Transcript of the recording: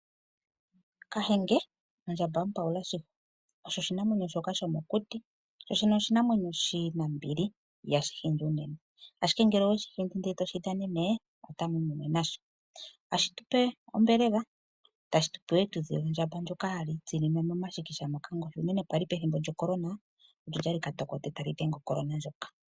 Kahenge, ondjambamupawula shili osho oshinamwenyo shoka shomokuti, osho oshinamwenyo shina ombili ihashi shindi unene, ashike ngele oweshi hindi ndele toshi dhanenene, amu imono nasho. Ohashi tupe ombelela, tashi tupe wo ethudhi lyondjamba hali tsinine momashikisha moka, unene kwaali pethimbo lyoCorona, olyali katokote, ali dhenge oCorona ndjoka.